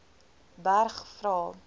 berg vra